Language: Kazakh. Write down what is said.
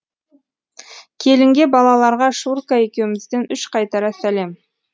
келінге балаларға шурка екеумізден үш қайтара сәлем